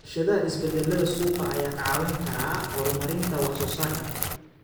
U fiirsashada isbeddellada suuqa ayaa kaa caawin kara horumarinta wax soo saarka.